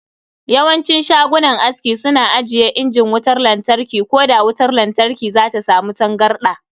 Yawancin shagunan aski suna ajiye injin wutar latarki ko da wutar lantarki zata samu tangarda.